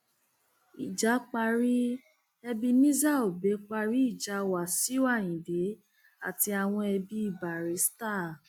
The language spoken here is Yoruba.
ìjà parí ebenezer obey parí ìjà wàsíù ayinde àti àwọn ẹbí barrister